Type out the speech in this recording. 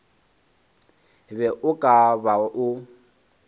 be o ka ba o